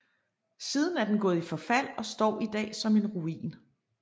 Siden er den gået i forfald og står i dag som en ruin